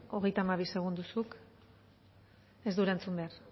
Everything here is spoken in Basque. hogeita hamabi segundo zuk ez du erantzun behar